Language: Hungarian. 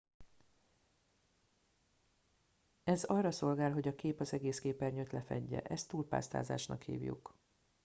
ez arra szolgál hogy a kép az egész képernyőt lefedje ezt túlpásztázásnak hívjuk